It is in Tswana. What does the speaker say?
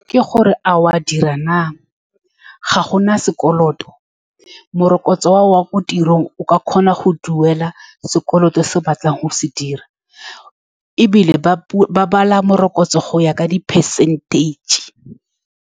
Ke gore, a o a dira naa, ga gona sekoloto. Morokotso wa gago wa ko tirong o ka kgona go duela sekoloto se o batlang go se dira, ebile ba ba bala morokotso go ya ka di-percentage.